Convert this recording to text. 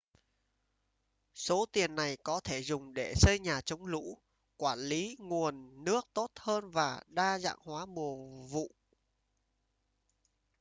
số tiền này có thể dùng để xây nhà chống lũ quản lý nguồn nước tốt hơn và đa dạng hóa mùa vụ